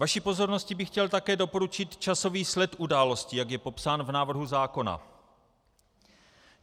Vaší pozornosti bych chtěl také doporučit časový sled událostí, jak je popsán v návrhu zákona.